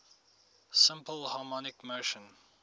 simple harmonic motion